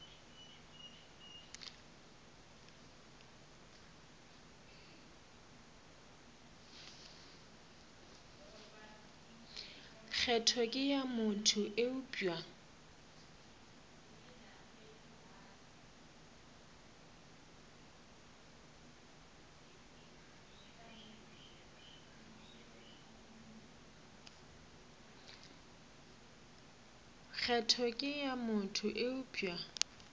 kgetho ke ya motho eupša